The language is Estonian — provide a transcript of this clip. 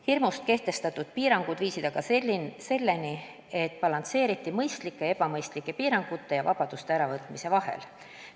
Hirmust kehtestatud piirangud viisid aga selleni, et balansseeriti mõistlike ja ebamõistlike piirangute ja vabaduste äravõtmise vahel.